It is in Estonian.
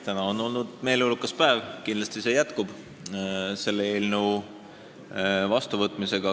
Täna on olnud meeleolukas päev, kindlasti see jätkub selle eelnõu vastuvõtmisega.